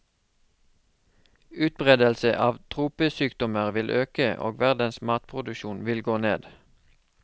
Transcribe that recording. Utbredelse av tropesykdommer vil øke og verdens matproduksjon vil gå ned.